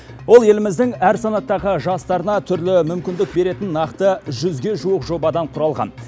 ол еліміздің әр санаттағы жастарына түрлі мүмкіндік беретін нақты жүзге жуық жобадан құралған